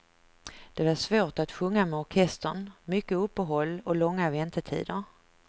Det var svårt att sjunga med orkestern, mycket uppehåll och långa väntetider.